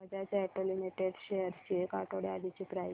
Bajaj auto limited shares ची एक आठवड्या आधीची प्राइस